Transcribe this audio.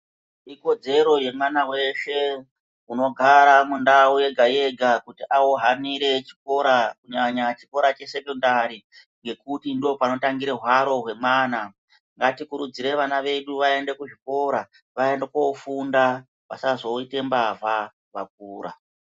Ikodzero yemwana weshe unogara mundau yega yega ohanura chikora kunyanya chikora chesokandari ngekuti ndopanotangira hwaro hwemwana ngatikurudzire vana vedu vaende kuzvikora vaende kofunda vasazoita mbavha.